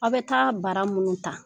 Aw be taa bara munnu ta